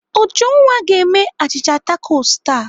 Ujunwa ga-eme a achịcha takos taa.